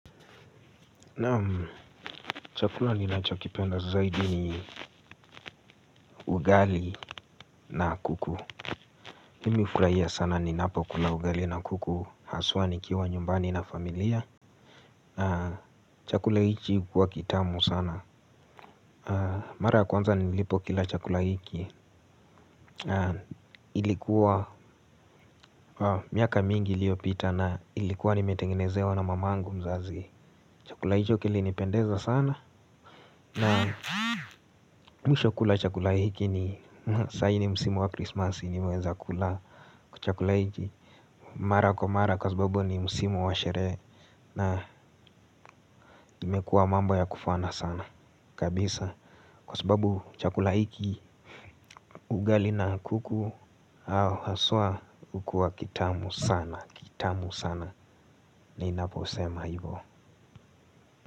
Naam chakula ninachokipenda zaidi ni ugali na kuku mimi hufurahia sana ninapokula ugali na kuku. Haswa nikiwa nyumbani na familia. Na chakula hichi hukuwa kitamu sana. Mara ya kwanza nilipokila chakula hiki. Ilikuwa miaka mingi iliyopita na ilikuwa nimetengenezewa na mamangu mzazi. Chakula hicho kilinipendeza sana. Naam mwisho kula chakula hiki ni saa hii ni msimu wa krismasi nimeweza kula chakula hiki. Mara kwa mara kwa sababu ni msimu wa sherehe. Na imekuwa mambo ya kufana sana. Kabisa. Kwa sababu chakula hiki ugali na kuku au haswa hukua kitamu sana. Kitamu sana ninapo sema hivyo.